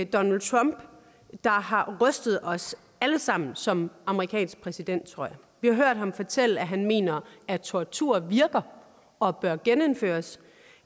donald trump der har rystet os alle sammen som amerikansk præsident tror jeg vi har hørt ham fortælle at han mener at tortur virker og bør genindføres